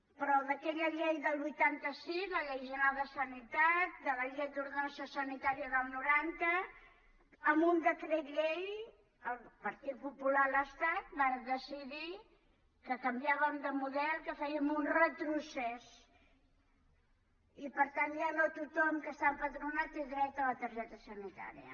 però d’aquella llei del vuitanta sis la llei general de sanitat de la llei d’ordenació sanitària del noranta amb un decret llei el partit popular a l’estat va decidir que canviàvem de model que fèiem un retrocés i per tant ja no tothom que està empadronat té dret a la targeta sanitària